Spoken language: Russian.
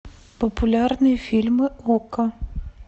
популярные фильмы окко